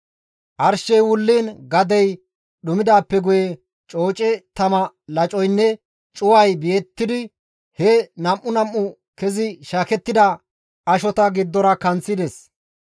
Arshey wulliin gadey dhumidaappe guye cooce tama lacoynne cuway beettidi he nam7u nam7u kezi shaakettida ashota giddora kanththides.